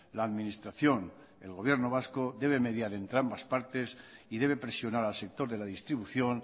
la administración el gobierno vasco debe mediar entre ambas partes y debe presionar al sector de la distribución